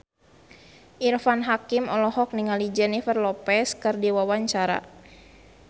Irfan Hakim olohok ningali Jennifer Lopez keur diwawancara